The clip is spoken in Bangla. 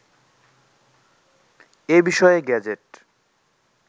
এ বিষয়ে গেজেট